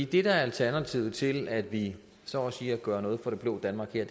det der er alternativet til at vi så at sige gør noget for det blå danmark her